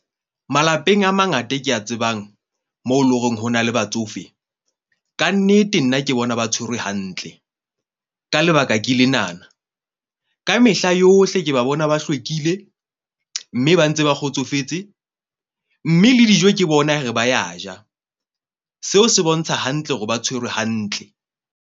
Malapeng a mangata ke a tsebang mo eleng hore hona le batsofe. Kannete nna ke bona ba tshwerwe hantle ka lebaka ke lenana, kamehla yohle, ke ba bona, ba hlwekile. Mme ba ntse ba kgotsofetse mme le dijo ke bona re ba ya ja. Seo se bontsha hantle hore ba tshwerwe hantle.